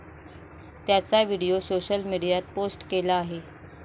त्याचा video social मीडियात post केला आहे.